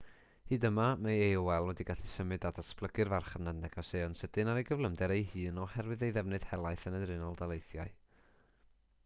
hyd yma mae aol wedi gallu symud a datblygu'r farchnad negeseuon sydyn ar ei gyflymder ei hun oherwydd ei ddefnydd helaeth yn yr unol daleithiau